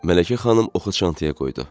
Mələkə xanım oxu çantaya qoydu.